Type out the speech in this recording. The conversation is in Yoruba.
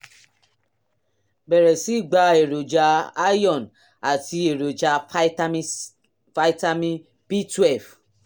bẹ̀rẹ̀ sí í gba èròjà iron àti èròjà pitamin vitamin b twelve